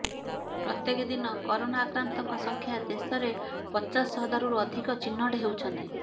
ପ୍ରତ୍ୟେକ ଦିନ କରୋନା ଆକ୍ରାନ୍ତଙ୍କ ସଂଖ୍ୟା ଦେଶରେ ପଚାଶ ହଜାରରୁ ଅଧିକ ଚିହ୍ନଟ ହେଉଛନ୍ତି